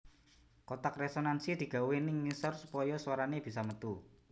Kotak resonansi digawé ning ngisor supaya swarane bisa metu